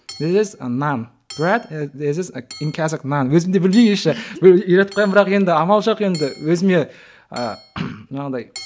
нан нан өзімде білмеймін еще бір үйретіп қоямын бірақ енді амал жоқ енді өзіме ы жаңағыдай